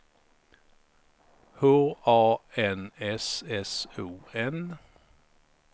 H A N S S O N